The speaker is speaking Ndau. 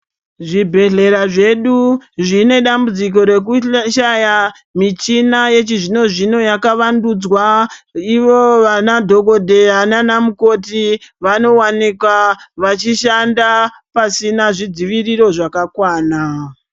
Zvibhehlera zvedu zvine dambudzo rekushaya michina yechizvinozvino yakavandudzwa ivo vana dhokodheya nanamukoti vanowanikwa vachishanda pasina zvidzivirio zvakakwana.